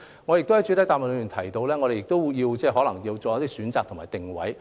我在主體答覆亦提到，當局可能要作出一些選擇及定位。